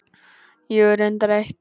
Jú, reyndar eitt.